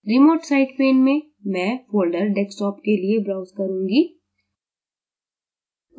remote site pane में मैं folder desktop के लिए browse करूँगी